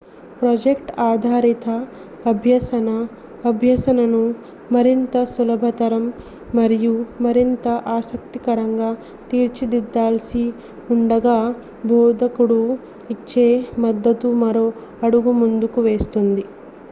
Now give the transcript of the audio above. project ఆధారిత అభ్యసన అభ్యసనను మరింత సులభతరం మరియు మరింత ఆసక్తికరంగా తీర్చిదిద్దాల్సి ఉండగా బోధకుడు ఇచ్చే మద్దతు మరో అడుగు ముందుకు వేస్తుంది